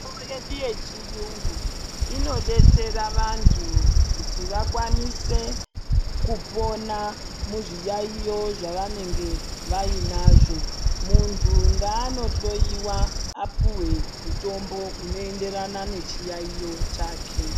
Mitombo yedu yechiyungu inodetsera vantu kuti vakwanise kupona muzviyaiyo zvavanenge vainazvo. Muntu ngaanohloyiwa apuhwe mutombo unoenderana nechiyaiyo chake.